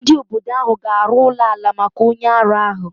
Ndị obodo ahụ ga-arụ ụlọ ala maka onye ara ahu.